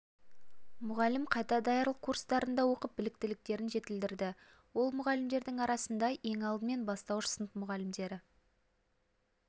мұғалім қайта даярлық курстарында оқып біліктіліктерін жетілдірді ол мұғалімдердің арасында ең алдымен бастауыш сынып мұғалімдері